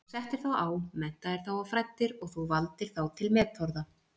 Þú settir þá á, menntaðir þá og fræddir og þú valdir þá til metorða.